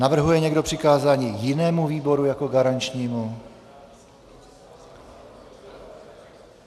Navrhuje někdo přikázání jinému výboru jako garančnímu?